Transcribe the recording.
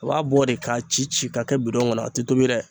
U b'a bɔ de k'a ci ci k'a kɛ bidon ŋɔnɔ a ti tobi dɛ